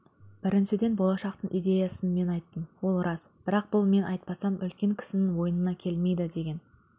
біріншіден болашақтың идеясын мен айттым ол рас бірақ бұл мен айтпасам үлкен кісінің ойына келмейді деген